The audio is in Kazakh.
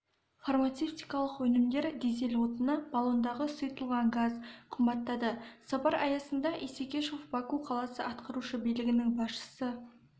фармацевтикалық өнімдер дизель отыны баллондағы сұйытылған газ қымбаттады сапар аясында исекешев баку қаласы атқарушы билігінің басшысы